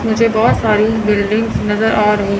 मुझे बहोत सारी बिल्डिंग्स नज़र आ रही हैं।